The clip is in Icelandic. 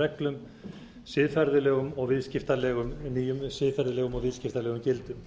reglum siðferðilegum og viðskiptalegum gildum